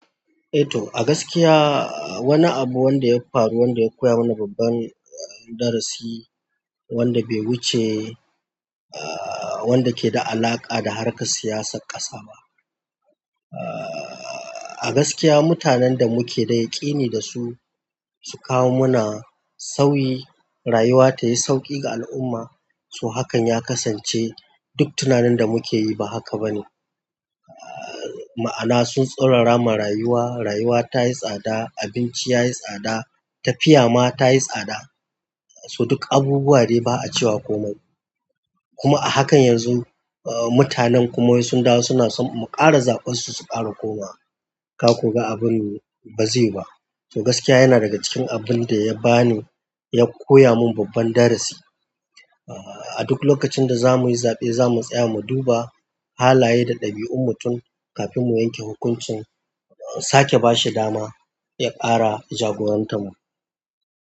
Eh to, a gaskiya wani abu wanda ya faru, wanda ya koya mana babban darasi wanda bai wuce, aa wanda ke da alaƙa da harkar siyasar ƙasa ba. A gaskiya mutanen da muke da yaƙini da su, su kawo mana sauyi, rayuwa ta yi sauƙi ga al'umma. So hakan ya kasance duk tunanin da muke yi ba haka ba ne. Ma'ana sun tsaurara ma rayuwa, rayuwa ta yi tsada, abinci ya yi tsada, tafiya ma ta yi tsada. So duk abubuwa dai ba a cewa komai. Kuma a hakan yanzu mutanen kuma wai sun dawo suna so mu ƙara zaɓas su ƙara koma. Ka ko ga abun baze yiwu ba to gaskiya yana daga cikin abin da ya bani, ya koya min babban darasi. A duk lokacin da za mu yi zaɓe, za mu tsaya mu duba halaye da ɗabi'un mutum kafin mu yanke hukuncin, sake ba shi dama ya ƙara jagorantar mu.